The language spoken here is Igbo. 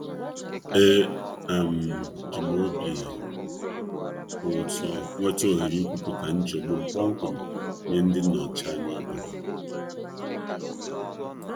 E um ji m obi ụtọ nweta ohere ikwupụta nchegbu m kpọmkwem nye ndị nnọchi anya obodo.